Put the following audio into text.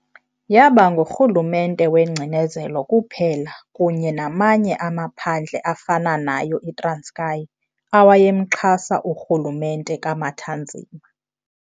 Yaba ngurhulumente wengcinezelo kuphela kunye namanye amaphandle afana nayo iTranskei awayemxhasa urhulumente kaMathanzima.